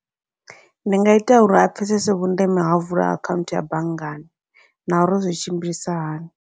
Ndi nga ita uri a pfhesese vhundeme hau vula akhaunthu ya banngani, na uri zwi tshimbilisa hani.